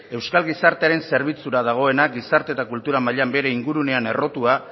euskal gizartearen zerbitzura dagoena gizarte eta kultura mailan bere ingurunean errotua